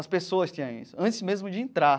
As pessoas tinham isso, antes mesmo de entrar.